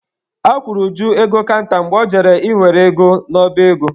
A kwụrụ Uju ego kanta mgbe ọ jere ị were ego n'ọba ego.